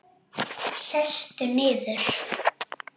Sestu niður.